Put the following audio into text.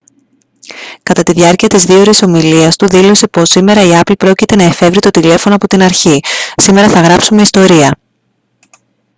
κατά τη διάρκεια της 2ωρης ομιλίας του δήλωσε πως «σήμερα η apple πρόκειται να εφεύρει το τηλέφωνο απ' την αρχή σήμερα θα γράψουμε ιστορία»